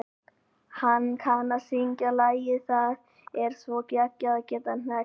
Hann kann að syngja lagið Það er svo geggjað að geta hneggjað.